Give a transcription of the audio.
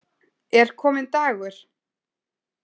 Er kominn dagur?